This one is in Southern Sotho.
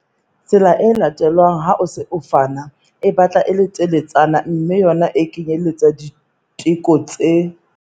Tsela e latelwang ha o se o fana e batla e le teletsana mme yona e kenyeletsa diteko tse